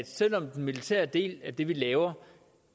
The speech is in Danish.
selv om den militære del af det vi laver